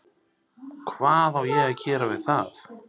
Hvað á ég að gera við það?